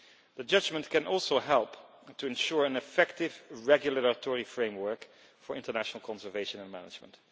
The judgment can also help to ensure an effective regulatory framework for international conservation and management.